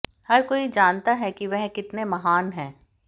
हर कोई जानता है कि वह कितने महान हैं